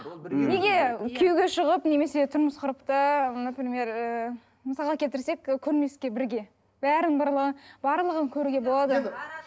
мхм неге күйеуге шығып немесе тұрмыс құрып та например ыыы мысалға келтірсек і көрмеске бірге барлығын көруге болады